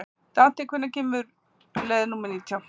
Dante, hvenær kemur leið númer nítján?